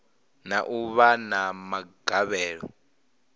na u vha na magavhelo